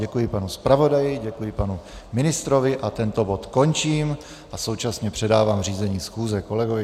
Děkuji panu zpravodaji, děkuji panu ministrovi a tento bod končím a současně předávám řízení schůze kolegovi.